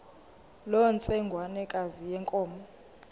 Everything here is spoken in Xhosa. loo ntsengwanekazi yenkomo